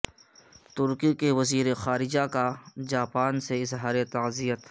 ترکی کے وزیر خارجہ کا جاپان سے اظہار تعزیت